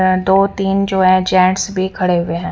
दो तीन जो हैं जेंट्स भी खड़े हुए हैं।